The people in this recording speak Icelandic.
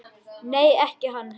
Nei, ekki hann Helgi.